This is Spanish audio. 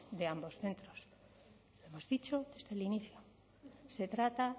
de ambos centros hemos dicho desde el inicio se trata